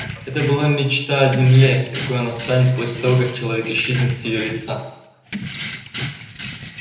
это была мечта о земле какой она станет после того как человек исчезнет с её лица